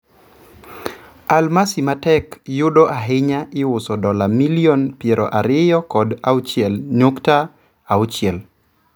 Almasi matek yudo ahinya iuso dola milion piero ariyo kod auchiel nukta auchiel.